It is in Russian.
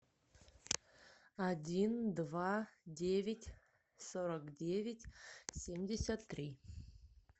один два девять сорок девять семьдесят три